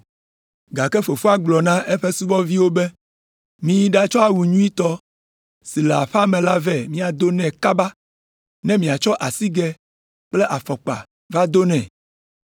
“Gake fofoa gblɔ na eƒe subɔviwo be, ‘Miyi ɖatsɔ awu nyuitɔ si le aƒea me la vɛ miado nɛ kaba! Ne miatsɔ asigɛ kple afɔkpa va do nɛ.